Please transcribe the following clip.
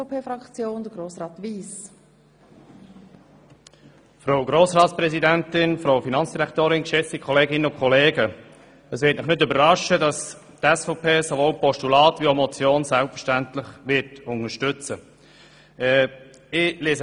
Es wird Sie nicht überraschen, dass die SVP sowohl ein Postulat wie auch eine Motion unterstützen wird.